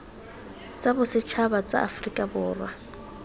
tsa bosetšhaba tsa aforika borwa